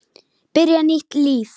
Byrja nýtt líf.